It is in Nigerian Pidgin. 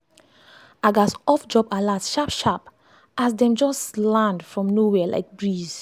i gats off job alerts sharp-sharp as dem just land from nowhere like like breeze.